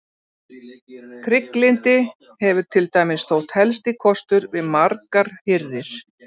Trygglyndi hefur til dæmis þótt helsti kostur við margar hirðir.